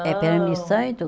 É, permissão